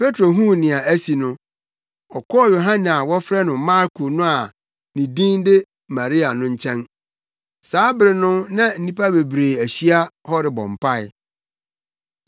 Petro huu nea asi no, ɔkɔɔ Yohane a na wɔfrɛ no Marko no a na ne din de Maria no fi. Saa bere no na nnipa bebree ahyia wɔ hɔ rebɔ mpae.